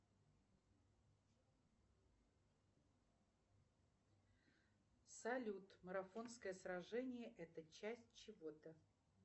афина валюта бангладеш